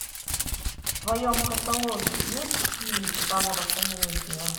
в твоем каталоге есть фильм жанра комедия